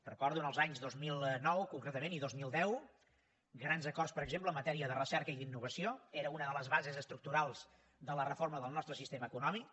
recordo en els anys dos mil nou concretament i dos mil deu grans acords per exemple en matèria de recerca i d’innovació era una de les bases estructurals de la reforma del nostre sistema econòmic